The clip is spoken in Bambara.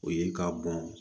O ye ka bɔn